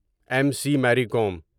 M C Mary Kom